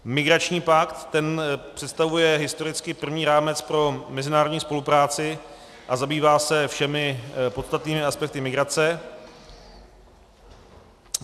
Migrační pakt, ten představuje historicky právní rámec pro mezinárodní spolupráci a zabývá se všemi podstatnými aspekty migrace.